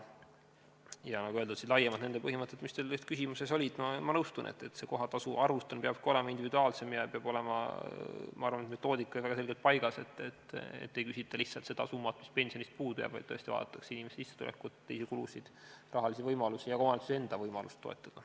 Ja nagu öeldud, need laiemad põhimõtted, mis teie küsimuses olid, ma nõustun, et see kohatasu arvutamine peabki olema individuaalsem ja minu arvates peab ka metoodika olema väga selgelt paigas, et ei küsita lihtsalt seda summat, mis pensionist puudu jääb, vaid tõesti vaadatakse inimese sissetulekut, teisi kulusid, rahalisi võimalusi ja ka omavalitsuse enda võimalust toetada.